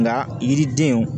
Nga yiridenw